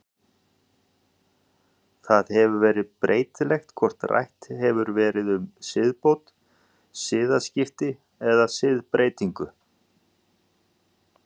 Það hefur svo verið breytilegt hvort rætt hefur verið um siðbót, siðaskipti eða siðbreytingu.